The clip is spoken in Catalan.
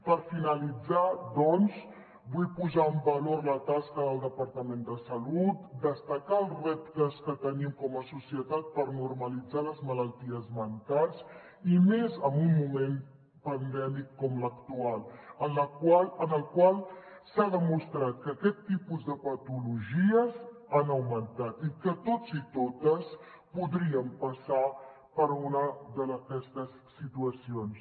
per finalitzar doncs vull posar en valor la tasca del departament de salut destacar els reptes que tenim com a societat per normalitzar les malalties mentals i més en un moment pandèmic com l’actual en el qual s’ha demostrat que aquest tipus de patologies han augmentat i que tots i totes podríem passar per una d’aquestes situacions